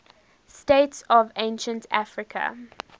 states of ancient africa